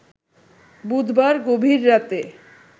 বুধবার গভীর রাতে